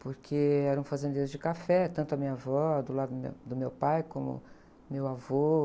porque eram fazendeiros de café, tanto a minha avó, do lado meu, do meu pai, como meu avô.